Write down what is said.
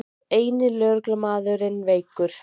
Eini lögreglumaðurinn veikur